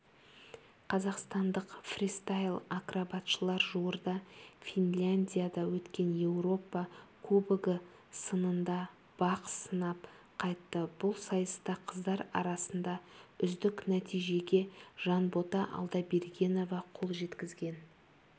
қазақстандық фристайл-акробатшылар жуырда финляндияда өткен еуропа кубогы сынында бақ сынап қайтты бұл сайыста қыздар арасында үздік нәтижеге жанбота алдабергенова қол жеткізген